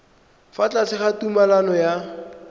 fa tlase ga tumalano ya